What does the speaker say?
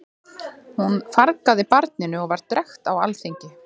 Hún fargaði barninu og var drekkt á alþingi.